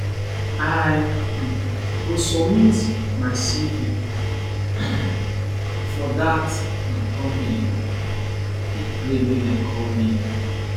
i um go submit my cv um for dat um company i dey pray make dem call me